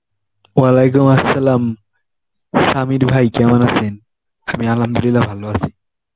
Arbi Samir ভাই কেমন আছেন? আমি Arbi ভালো আছি.